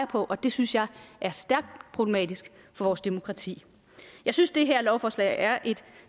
på og det synes jeg er stærkt problematisk for vores demokrati jeg synes det her lovforslag er et